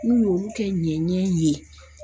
N'u y'olu kɛ ɲɛnɲɛn ye